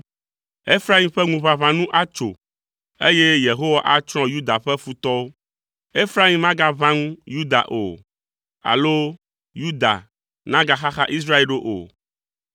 Efraim ƒe ŋuʋaʋã nu atso, eye Yehowa atsrɔ̃ Yuda ƒe futɔwo. Efraim magaʋã ŋu Yuda o, alo Yuda nagaxaxa Israel ɖo o.